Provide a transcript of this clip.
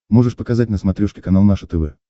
можешь показать на смотрешке канал наше тв